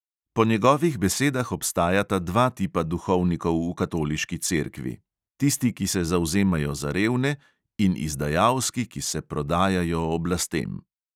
Po njegovih besedah obstajata dva tipa duhovnikov v katoliški cerkvi: tisti, ki se zavzemajo za revne, in izdajalski, ki se prodajajo oblastem.